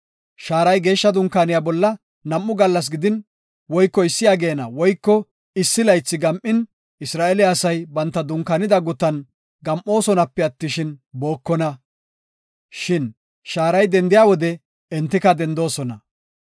Shaaray Geeshsha Dunkaaniya bolla nam7u gallas gidin woyko issi ageena woyko issi laythi gam7in Isra7eele asay banta dunkaanida gutan gam7osonape attishin, bookona. Shin shaaray dendiya wode entika dendoosona.